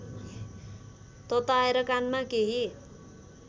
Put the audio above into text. तताएर कानमा केही